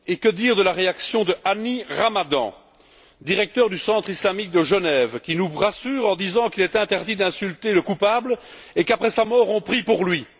Et que dire de la réaction de Hani Ramadan, directeur du Centre islamique de Genève, qui nous rassure en nous disant qu'il est interdit d'insulter le coupable et qu'après sa mort, on prie pour lui?